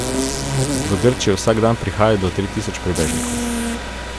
V Grčijo vsak dan prihaja do tri tisoč prebežnikov.